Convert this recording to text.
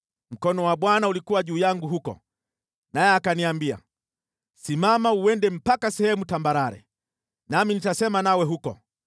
Mkono wa Bwana ulikuwa juu yangu huko, naye akaniambia, “Simama uende mpaka sehemu tambarare, nami nitasema nawe huko.”